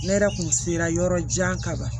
Ne yɛrɛ kun sela yɔrɔ jan kaban